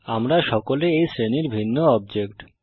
আমরা সকলে এই শ্রেণীর ভিন্ন অবজেক্ট